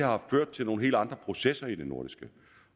har ført til nogle helt andre processer i det nordiske